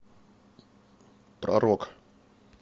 про рок